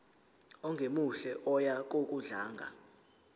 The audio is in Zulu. ongemuhle oya ngokudlanga